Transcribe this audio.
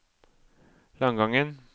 Langangen